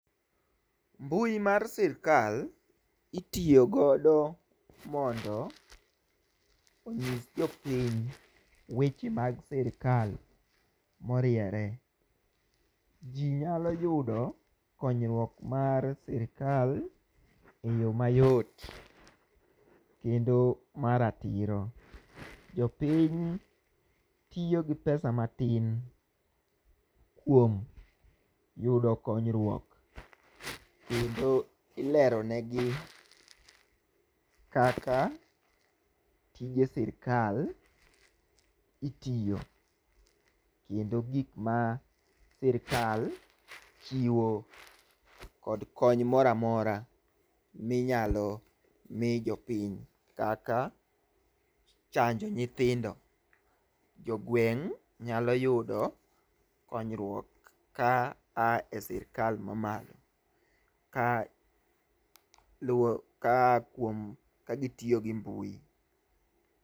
mbui mar sirkal itiyo godo mondo ong'is jopiny weche mag sirikal moriere. Jii nyalo yudo konyruok mar sirikal eyo mayot kendo ma ratiro. Jopiny tiyo gi pesa matin kuom yudo konyruok kendo ilero ne gi kaka tije sirikal itiyo, kendo gik ma sirkal chiwo kod kony moramora minyalo mii jopiny kaka chanjo nyithindo. Jogweng' nyalo yudo konyruok kaa e sirikal mamalo kaluwo kaa kuom ka gitiyo gi mbui.